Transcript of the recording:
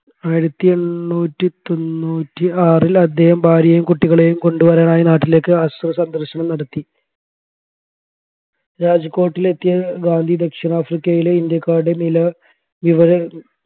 ആയിരത്തി എണ്ണൂറ്റി തൊണ്ണൂറ്റി ആറിൽ അദ്ദേഹം ഭാര്യയെയും കുട്ടികളെയും കൊണ്ടുവരാനായി നാട്ടിലേക്ക് ആശ്രമസന്ദർശനം നടത്തി രാജ്കോട്ടിലെത്തിയ ഗാന്ധി ദക്ഷിണാഫ്രിക്കയിലെ ഇന്ത്യക്കാരുടെ നില